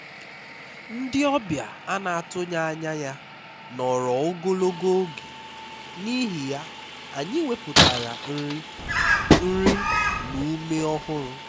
ndị ọbịa a na-atụghị anya ya nọrọ ogologo oge n'ihi ya anyị wepụtara nri nri na ume ọhụrụ